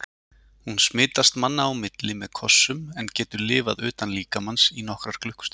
Hún smitast manna á milli með kossum en getur lifað utan líkamans í nokkrar klukkustundir.